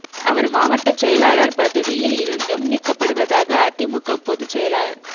அவர் மாவட்டச் செயலாளர் பதவியில் இருந்தும் நீக்கப்படுவதாக அதிமுக பொதுச் செயலாளர்